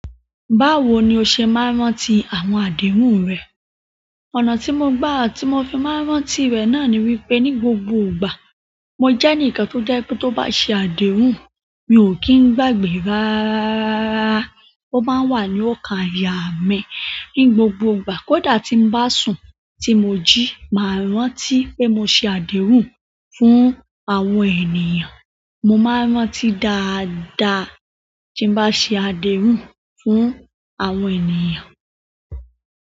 Báwo ni o ṣe máa ń rántí àwọn àdéhùn rẹ? Ọ̀nà tí mo n gbà ti mo fi máa ń rántí rẹ̀ náà ni wípé ní gbogbo ìgbà, mo j'ẹ́níkan tó jẹ́ pé tó bá ṣe àdéhùn, mi ò kí ń gbàgbé ráráraraa. Ó máa ń wà ní ookàn ayà mi ní gbogbo ìgbà. Kódà tí ń bá sùn tí mo jí, màá rántí pé mo ṣe àdéhùn fún àwọn ènìyàn. Mo máa ń rántí dáadáa tí ń bá ṣe àdéhùn fún àwọn ènìyàn.